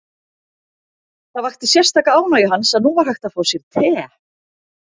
Það vakti sérstaka ánægju hans að nú var hægt að fá te.